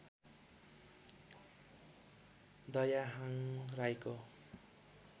दयाहाङ राईको